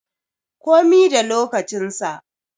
Komi da lokacin sa